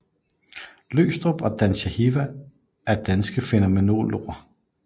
Løgstrup og Dan Zahavi er danske fænomenologer